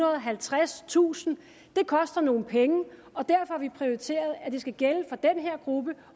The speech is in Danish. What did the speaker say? og halvtredstusind det koster nogle penge og derfor har vi prioriteret at det skal gælde for den her gruppe